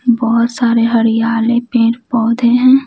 बहुत सारे हरियाले पेड़ पौधे हैं।